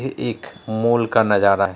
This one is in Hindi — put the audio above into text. ये एक मॉल का नज़ारा है।